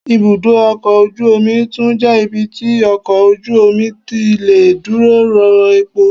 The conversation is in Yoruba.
Ibúdó ọkọ̀ ojú omi tún jẹ́ ibi tí ọkọ̀ ojú omi tí lè dúró rọ́ epo